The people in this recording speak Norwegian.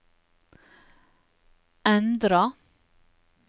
endra